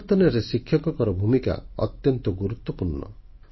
ପରିବର୍ତ୍ତନରେ ଶିକ୍ଷକଙ୍କର ଭୂମିକା ଅତ୍ୟନ୍ତ ଗୁରୁତ୍ୱପୂର୍ଣ୍ଣ